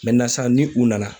sisan ni u nana.